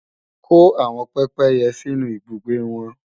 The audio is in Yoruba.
Kó àwọn pépéyẹ sínú ibùgbé wọn!